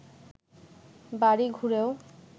বাড়ি ঘুরেও